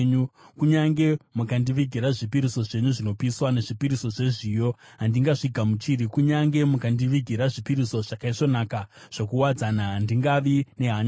Kunyange mukandivigira zvipiriso zvenyu zvinopiswa nezvipiriso zvezviyo, handingazvigamuchiri. Kunyange mukandivigira zvipiriso zvakaisvonaka zvokuwadzana, handingavi nehanya nazvo.